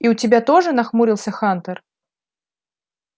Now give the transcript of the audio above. и у тебя тоже нахмурился хантер